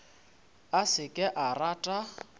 a se ke a rata